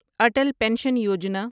Atal pension Yojana